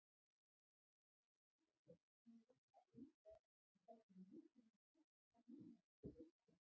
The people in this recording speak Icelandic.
Það leiðinlega sem ég hugsa um er, hversu mikið mun kosta núna að kaupa þá?